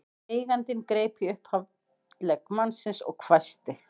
Eigandinn greip í upphandlegg mannsins og hvæsti